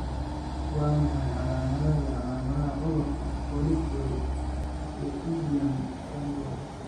Waa maxay calaamadaha iyo calaamadaha cudurka 'Politeal pterygium syndrome'?